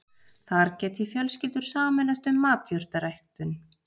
Þar geti fjölskyldur sameinast um matjurtaræktun